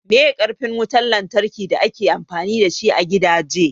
Meye karfin wutan lantraki da ake amfani dashi a gidaje?